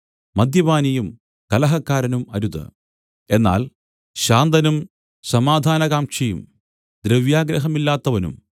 മദ്യപാനിയും കലഹക്കാരനും അരുത് എന്നാൽ ശാന്തനും സമാധാനകാംക്ഷിയും ദ്രവ്യാഗ്രഹമില്ലാത്തവനും